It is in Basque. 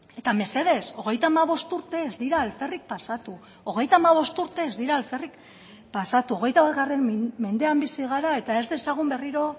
eta mesedez hogeita hamabost urte ez dira alferrik pasatu hogeita hamabost urte ez dira alferrik pasatu hogeita bat mendean bizi gara eta ez dezagun berriro